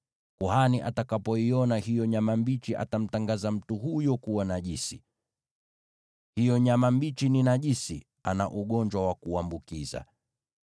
Kuhani atakapoiona hiyo nyama mbichi, atamtangaza mtu huyo kuwa najisi. Hiyo nyama mbichi ni najisi, ana ugonjwa wa kuambukiza.